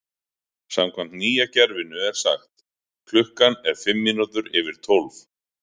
Samkvæmt nýja kerfinu er sagt: Klukkan er fimm mínútur yfir tólf.